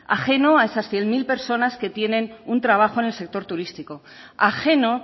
ajeno a esas cien mil personas que tienen un trabajo en el sector turístico ajeno